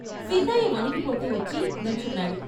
సిద్దయ్య వణికిపోతూ వచ్చి నుంచున్నాడు.